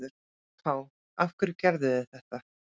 AK: Af hverju gerðuð þið þetta?